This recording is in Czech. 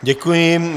Děkuji.